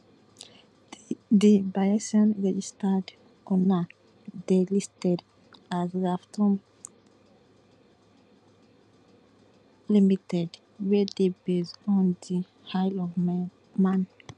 di bayesian registered owner dey listed as revtom ltd wey dey based on di isle of man